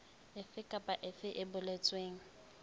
efe kapa efe e boletsweng